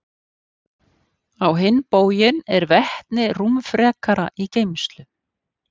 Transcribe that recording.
Á hinn bóginn er vetni rúmfrekara í geymslu.